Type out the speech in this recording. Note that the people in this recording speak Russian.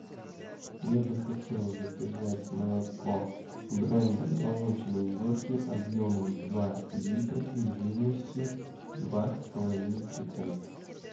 я бы хотел заказать молоко бренда молочные горки объемом два литра и жирностью два с половиной процента